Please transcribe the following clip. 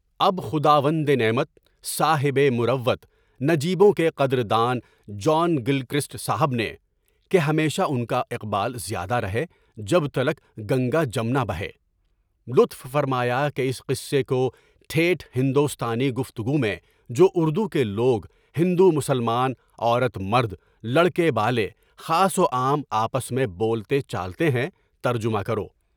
اب خداوندِ نعمت، صاحبِ مروت، نجیبوں کے قدر دان، جان گلکرسٹ صاحب نے (کہ ہمیشہ ان کا اقبال زیادہ رہے، جب تلک گنگا جمنا بہے) لطف فرمایا کہ اس قصے کو ٹھیٹھ ہندوستانی گفتگو میں، جوار دو کے لوگ، ہندو مسلمان، عورت مرد، لڑکے بالے، خاص و عام آپس میں بولتے چلتے ہیں، ترجمہ کرو۔